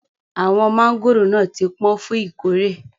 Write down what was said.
Awọn mangóró náà ti pọ̀n fún ìkórè.